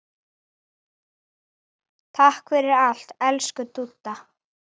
Takk fyrir allt, elsku Dúdda.